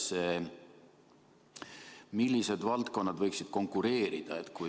Millised valdkonnad võiksid teiega konkureerida?